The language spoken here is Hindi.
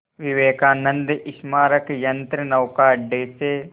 विवेकानंद स्मारक यंत्रनौका अड्डे से